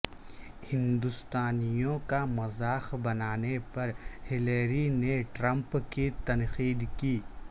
ہندوستانیوں کا مذاق بنانے پر ہلیری نے ٹرمپ کی تنقید کی